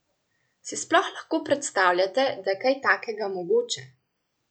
Si sploh lahko predstavljate, da je kaj takega mogoče?